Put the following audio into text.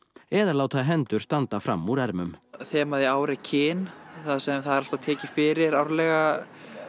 eða láta hendur standa fram úr ermum þemað í ár er kyn þar sem það er alltaf tekið fyrir árlega